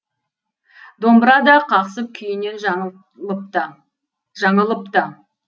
домбыра да қақсып күйінен жаңылыпты